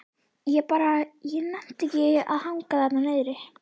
Ég bara. ég nennti ekki að hanga þarna niðri.